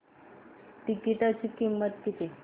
तिकीटाची किंमत किती